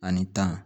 Ani tan